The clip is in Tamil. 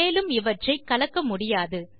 மேலும் அவற்றை கலக்க முடியாது